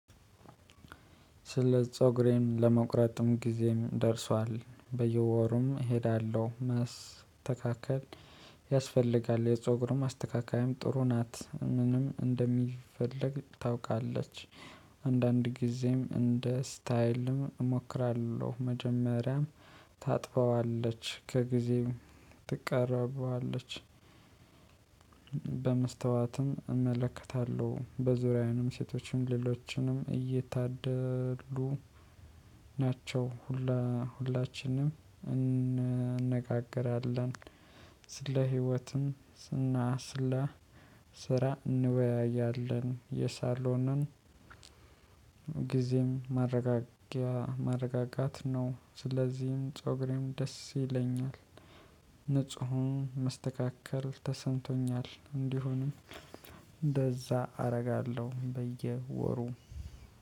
ስለ ፀጉሬን ለመቁረጥም ጊዜም ደርሷል በየወሩም እሄዳለሁ ማስተካከል ያስፈልጋል የፀጉሩም አስተካካይም ጥሩ ናት ምንም እንደሚፈልግ ታውቃለች። አንዳንድ ጊዜም እንደ ስታይልም እሞክራለሁ መጀመሪያም ታጥበዋለች ከጊዜው ትቀረበዋለች። በመስተዋትም እመለከታለሁ በዙሪያዬንም ሴቶችንም ሌሎችንም እየታደሉ ናቸው ሁላ ሁላችንም እንነጋገራለን። ስለ ህይወትም ስና ስላ ስራ እንወያያለን። የሳሎንን ጊዜም ማረጋጊያ ማረጋጋት ነው። ስለዚህም ፀጉሬም ደስ ይለኛል። ንጹሁን መስተካከር ተሰንቶኛል እንዲሆንም እንደዛ አደርጋለሁ በየወሩ።